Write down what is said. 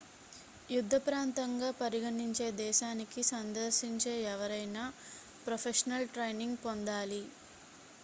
యుద్ధ ప్రాంతంగా పరిగణించే దేశానికి సందర్శించే ఎవరైనా ప్రొఫెషనల్ ట్రైనింగ్ పొందాలి